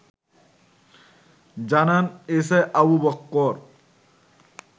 জানান এসআই আবু বক্কর